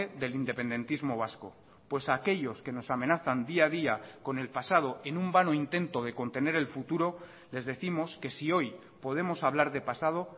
del independentismo vasco pues aquellos que nos amenazan día a día con el pasado en un vano intento de contener el futuro les décimos que si hoy podemos hablar de pasado